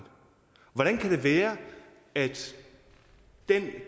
hvordan kan det være at den